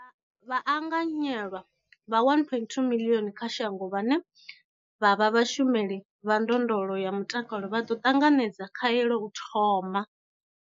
Vhaanganyelwa vha 1.25 miḽioni kha shango vhane vha vha vhashumeli vha ndondolo ya mutakalo vha ḓo ṱanganedza khaelo u thoma.